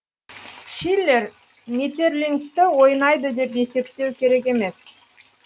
шиллер метерлинкті ойнайды деп есептеу керек емес